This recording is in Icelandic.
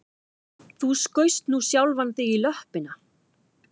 Þú skaust nú sjálfan þig í löppina